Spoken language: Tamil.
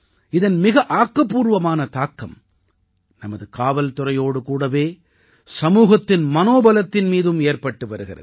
இதன் மிக ஆக்கப்பூர்வமான தாக்கம் நமது காவல்துறையோடு கூடவே சமூகத்தின் மனோபலத்தின் மீதும் ஏற்பட்டு வருகிறது